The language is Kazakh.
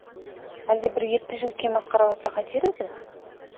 әлде бір епті жігітке масқаралатса қайтер еді